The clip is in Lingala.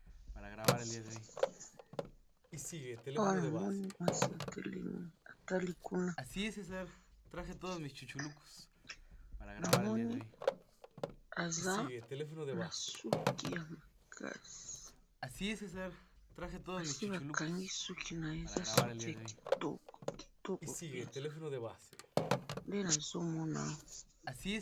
awa na moni mwasi atelemi atali kuna na moni aza na suki yamakasi basi ba kangi suki naye eza suki ya kitoko penza nde nazo mona yo